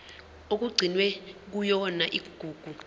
okugcinwe kuyona igugu